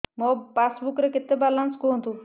ମୋ ପାସବୁକ୍ ରେ କେତେ ବାଲାନ୍ସ କୁହନ୍ତୁ